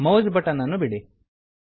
mouse button ಅನ್ನು ಬಿಡಿ